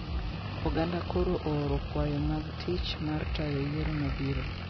Oganda koro ooro kwayo mag tich mar tayo yiero mabiro